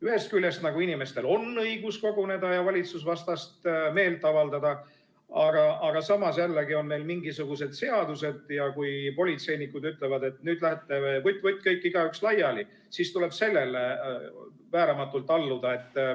Ühest küljest nagu inimestel on õigus koguneda ja valitsuse vastu meelt avaldada, aga samas jällegi on meil mingisugused seadused ja kui politseinikud ütlevad, et nüüd lähete vutt-vutt kõik laiali, siis tuleb sellele vääramatult alluda.